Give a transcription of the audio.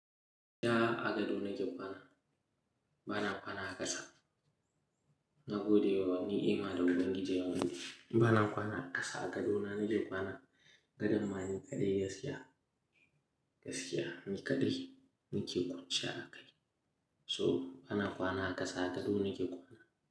Da a gado na ke kwana, bana kwana a ƙasa. Na gode wa ni'ima da Ubangiji ya mun dashi. Ni bana kwana a ƙasa, a gado na nake kwana. Gadon ma ni kaɗai gaskiya, gaskiya ni kaɗai nike kwanciya a kai. So bana kwana a ƙasa, a gado nake kwana.